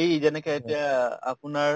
এই যেনেকা এতিয়া আপোনাৰ